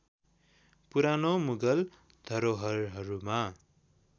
पुरानो मुगल धरोहरहरूमा